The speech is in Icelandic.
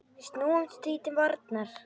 Snúumst því til varnar!